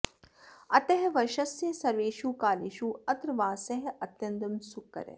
अतः वर्षस्य सर्वेषु कालेषु अत्र वासः अत्यन्तं सुखकरः